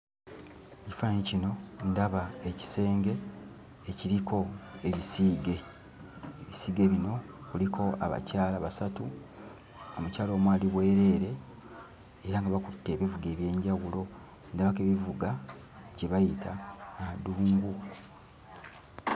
Mu kifaananyi kino ndaba ekisenge ekiriko ebisiige. Ebisiige bino kuliko abakyala basatu, omukyala omu ali bwereere era nga bakutte ebivuga eby'enjawulo ndabako ebivuga kye bayita adungu.